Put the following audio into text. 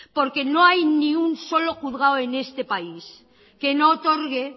porque no hay ni un solo juzgado en este país que no otorgue